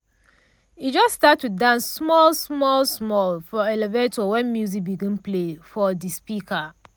e just start to dance small small small for elevator when music begin play from de speaker.